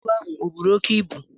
Ntu ahụ o buru oke ibu?